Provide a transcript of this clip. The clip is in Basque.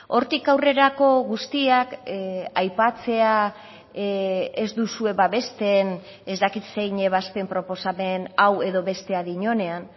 hortik aurrerako guztiak aipatzea ez duzue babesten ez dakit zein ebazpen proposamen hau edo bestea dionean